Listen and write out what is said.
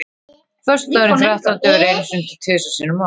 Föstudagurinn þrettándi verður einu sinni til þrisvar sinnum á ári.